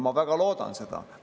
Ma väga loodan seda.